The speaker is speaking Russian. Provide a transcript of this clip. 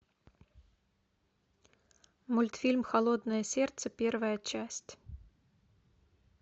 мультфильм холодное сердце первая часть